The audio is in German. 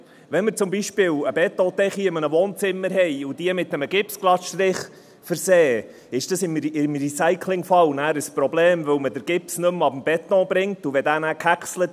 Wenn wir zum Beispiel eine Betondecke in einem Wohnzimmer mit einem Gipsglattstrich versehen, ist dies dann im Recyclingfall ein Problem, weil man den Gips nicht mehr vom Beton herunterbekommt.